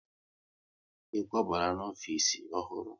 Ị kwabala n'ofisi ọhụrụ?